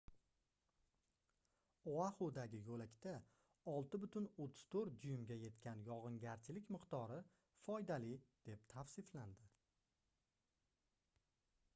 oaxudagi yoʻlakda 6,34 duymga yetgan yogʻingarchilik miqdori foydali deb tavsiflandi